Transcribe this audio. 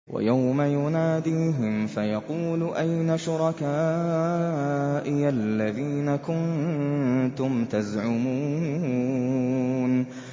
وَيَوْمَ يُنَادِيهِمْ فَيَقُولُ أَيْنَ شُرَكَائِيَ الَّذِينَ كُنتُمْ تَزْعُمُونَ